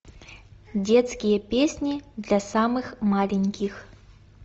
детские песни для самых маленьких